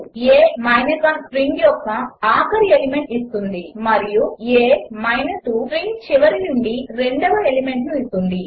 a 1 string యొక్క ఆఖరి element ఇస్తుంది మరియు a 2 స్ట్రింగ్ చివరి నుండి రెండవ ఎలిమెంట్ ఇస్తుంది